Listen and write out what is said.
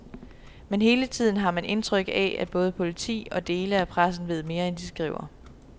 Men hele tiden har man indtryk af, at både politi og dele af pressen ved mere, end de skriver.